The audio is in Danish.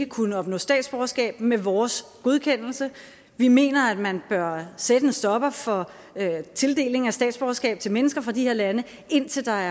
kunne opnå statsborgerskab med vores godkendelse vi mener at man bør sætte en stopper for tildeling af statsborgerskab til mennesker fra de her lande indtil der